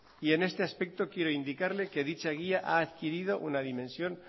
y en este aspecto quiero indicarle que dicha guía ha adquirido una dimensión